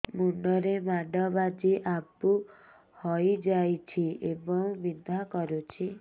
ମୁଣ୍ଡ ରେ ମାଡ ବାଜି ଆବୁ ହଇଯାଇଛି ଏବଂ ବିନ୍ଧା କରୁଛି